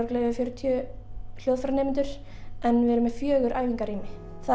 yfir fjörutíu hljóðfæranemendur en við erum með fjóra